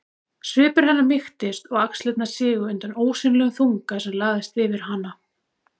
Svipur hennar mýktist og axlirnar sigu undan ósýnilegum þunga sem lagðist yfir hana.